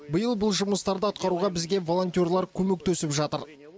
биыл бұл жұмыстарды атқаруға бізге волонтерлар көмектесіп жатыр